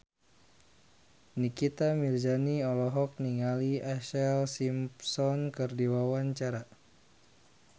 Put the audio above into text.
Nikita Mirzani olohok ningali Ashlee Simpson keur diwawancara